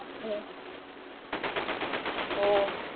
ഹും ഓ